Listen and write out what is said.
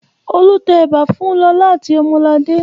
Olu tẹ ẹ̀bà fún Lọlá àti Ọmọladé.